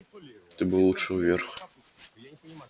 ты бы лучше вверх